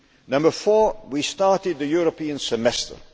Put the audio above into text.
Number four we started the European Semester.